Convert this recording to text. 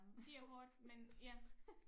Det er hårdt men ja